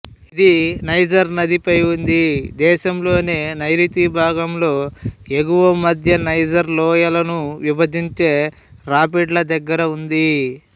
ఇది నైజర్ నదిపై ఉంది దేశంలోని నైరుతి భాగంలో ఎగువ మధ్య నైజర్ లోయలను విభజించే రాపిడ్ల దగ్గర ఉంది